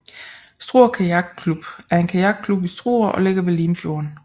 Struer Kajakklub er en kajakklub i Struer og ligger ved Limfjorden